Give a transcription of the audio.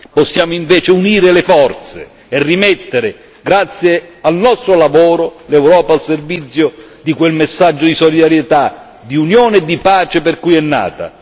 Possiamo invece unire le forze e rimettere, grazie al nostro lavoro, l'Europa a servizio di quel messaggio di solidarietà, di unione e di pace per cui è nata.